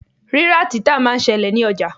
Rírà-títà máa ń ṣẹlẹ̀ ní ọjà.